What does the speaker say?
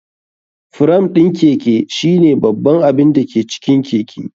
Fram ɗin Keke shine babban abin da ke cikin keke.